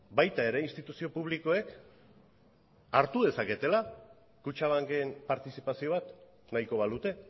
baita ere instituzio publikoek hartu dezaketela kutxabanken partizipazio bat nahiko balute